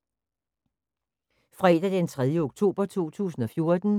Fredag d. 3. oktober 2014